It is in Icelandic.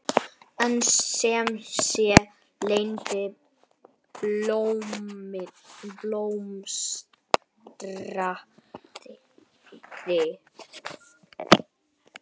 En sem sé, Lena blómstraði.